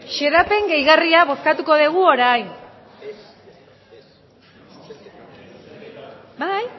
xedapen gehigarria bozkatuko dugu orain sí